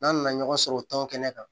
N'an nana ɲɔgɔn sɔrɔ o tɔn kɛnɛ kan